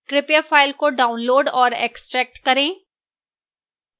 कृपया file को download और extract करें